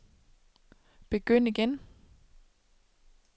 begynd igen